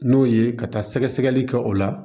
N'o ye ka taa sɛgɛ sɛgɛli kɛ o la